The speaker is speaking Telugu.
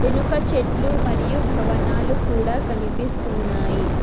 వెనక చెట్లు మరియు భవనాలు కూడా కనిపిస్తున్నాయి.